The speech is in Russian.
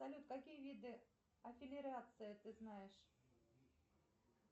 салют какие виды ты знаешь